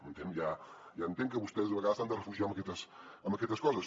m’entén ja entenc que vostès a vegades s’han de refugiar amb aquestes coses